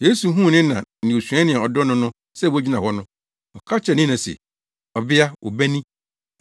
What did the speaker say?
Yesu huu ne na ne osuani a ɔdɔ no no sɛ wogyina hɔ no, ɔka kyerɛɛ ne na se, “Ɔbea, wo ba ni.”